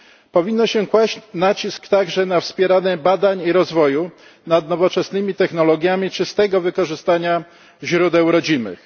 Powinno się kłaść nacisk także na wspieranie badań i rozwoju nad nowoczesnymi technologiami czystego wykorzystania źródeł rodzimych.